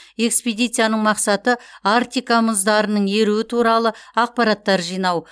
экспедицияның мақсаты арктика мұздарының еруі туралы ақпараттар жинау